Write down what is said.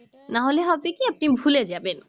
নাহলে হবে কি আপনি ভুলে যাবেন।